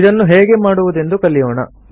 ಇದನ್ನು ಹೇಗೆ ಮಾಡುವುದೆಂದು ಕಲಿಯೋಣ